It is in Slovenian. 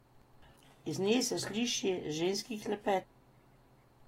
Iz nje se sliši ženski klepet.